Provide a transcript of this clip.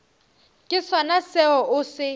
ke sona seo o se